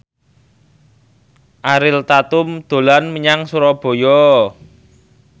Ariel Tatum dolan menyang Surabaya